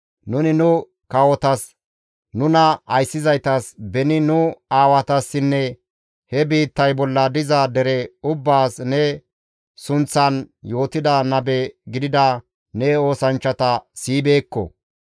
Nuni nu kawotas, nuna ayssizaytas, beni nu aawatassinne he biittay bolla diza dere ubbaas ne sunththan yootida nabe gidida ne oosanchchata siyibeekko.